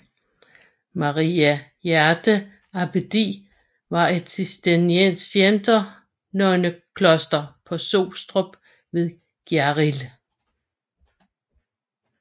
Maria Hjerte Abbedi var et cisterciensernonnekloster på Sostrup ved Gjerrild